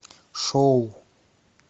шоу